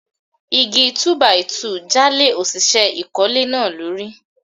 Igi Túbàìtuù já lé òṣìṣẹ́ ìkólé náà lórí.